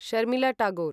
Sharmila Tagore